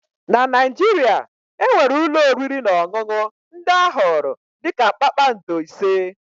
na Naijiria, e nwere ụlọ oriri na ọṅụṅụ ndị a họọrọ dị ka kpakpando ise